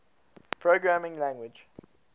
programming language